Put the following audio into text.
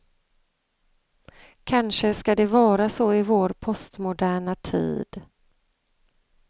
Kanske ska det vara så i vår postmoderna tid.